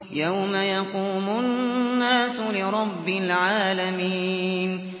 يَوْمَ يَقُومُ النَّاسُ لِرَبِّ الْعَالَمِينَ